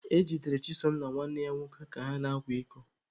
E jidere Chisom na nwanne ya nwoke ka ha na-akwa iko